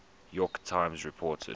york times reported